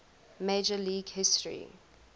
major league history